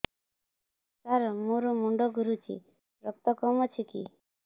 ସାର ମୋର ମୁଣ୍ଡ ଘୁରୁଛି ରକ୍ତ କମ ଅଛି କି